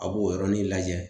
A b'o yɔrɔnin lajɛ